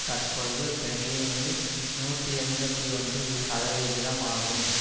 தற்பொழுது பெர்லினில் நூற்றி எண்பத்தி ஒன்று சதவிகிதம் ஆகும்